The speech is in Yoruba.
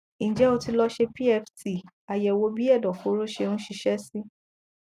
ǹjẹ ó ti lọ ṣe pft àyẹwò bí ẹdọfóró ṣe ń ṣiṣẹ sí